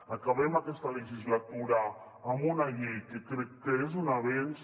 acabem aquesta legislatura amb una llei que crec que és un avenç